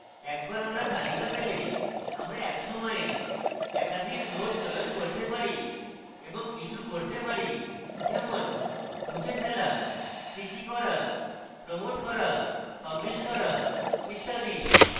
একবার আমরা তালিকাপেলে আমরা etc সময়ে একাধিক node চয়ন করতে পারি এবং কিছু করতে পারি যেমনমুছে ফেলা sticky করা promote করা publish করা ইত্যাদি